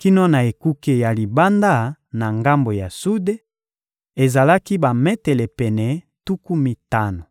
kino na ekuke ya libanda na ngambo ya sude: ezalaki bametele pene tuku mitano.